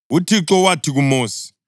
UThixo wathi kuMosi,